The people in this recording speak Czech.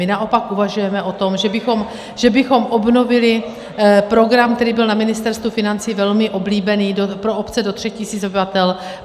My naopak uvažujeme o tom, že bychom obnovili program, který byl na Ministerstvu financí velmi oblíbený pro obce do 3 tisíc obyvatel.